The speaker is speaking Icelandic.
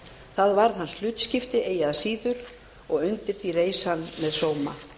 það varð hlutskipti hans eigi að síður og undir því reis hann með sóma